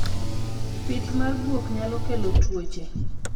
Pith mar guok nyalo kelo tuoche